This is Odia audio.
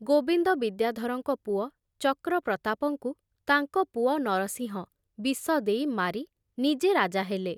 ଗୋବିନ୍ଦ ବିଦ୍ୟାଧରଙ୍କ ପୁଅ ଚକ୍ରପ୍ରତାପଙ୍କୁ ତାଙ୍କ ପୁଅ ନରସିଂହ ବିଷ ଦେଇ ମାରି ନିଜେ ରାଜା ହେଲେ।